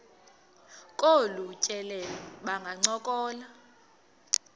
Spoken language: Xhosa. kolu tyelelo bangancokola